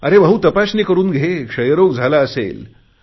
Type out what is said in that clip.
अरे भाऊ तपासणी करुन घे क्षयरोग झाला असेल